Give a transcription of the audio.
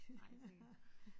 Nej jeg tænker